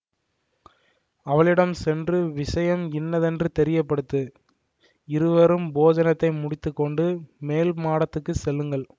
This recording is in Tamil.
அவளிடம் சென்று விஷயம் இன்னதென்று தெரியப்படுத்து இருவரும் போஜனத்தை முடித்து கொண்டு மேல் மாடத்துக்குச் செல்லுங்கள்